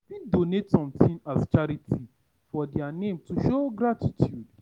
You fit donate something as charity for their name to show gratitude